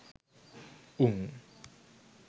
උං